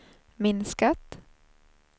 minskat